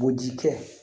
Boji kɛ